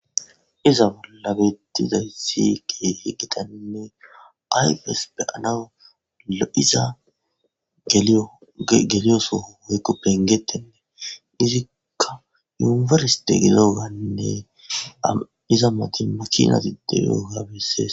Iza bolla bettizayssi ke hi giqaninne aypes beyanawula iza geliyosoho woykko pengettennee izikka yunifersite gidogaynne iza mati makinatide yoogabessees.